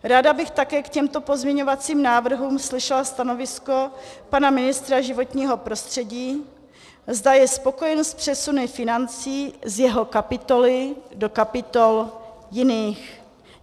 Ráda bych také k těmto pozměňovacím návrhům slyšela stanovisko pana ministra životního prostředí, zda je spokojen s přesuny financí z jeho kapitoly do kapitol jiných.